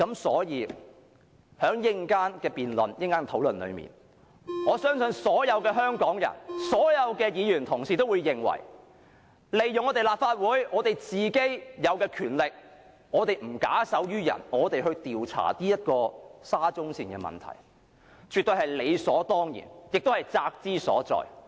在稍後的討論中，我相信所有香港人和議員也會認同利用立法會有的權力，不假手於人，調查沙中線的問題絕對是理所當然，也是責之所在。